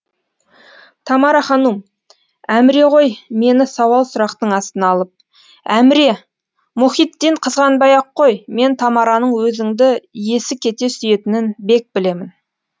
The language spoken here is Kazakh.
тамара ханум әміре ғой мені сауал сұрақтың астына алып әміре мұхитдин қызғанбай ақ қой мен тамараның өзіңді есі кете сүйетінін бек білемін